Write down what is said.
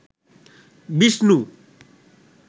Vishnu